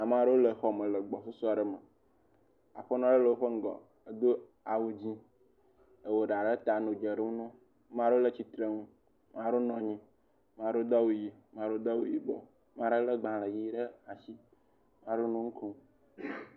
Ame aɖewo le xɔme le gbɔsusu aɖe me, aƒenɔ aɖe le ŋgɔ edo awu dzɛ̃ wɔ eɖa ɖe ta nɔ dze ɖo na wo maɖewo le tsitre nu, maɖewo nɔ anyi maɖewo do awu ʋi maɖewo do awu yibɔ maɖe lé gbalẽ ʋi ɖe asi, maɖewo nu kom.